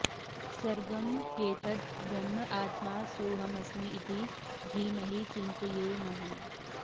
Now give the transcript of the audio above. सर्वं ह्येतद् ब्रह्म आत्मा सोऽहमस्मि इति धीमहि चिन्तयेमहि